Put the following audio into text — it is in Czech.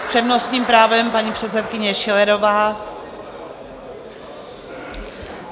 S přednostním právem paní předsedkyně Schillerová.